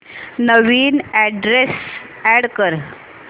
नवीन address add कर